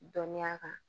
Dɔnniya kan